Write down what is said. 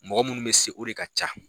Mɔgɔ minnu bɛ se o de ka ca